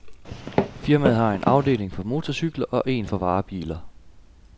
Firmaet har en afdeling for motorcykler og en for varebiler.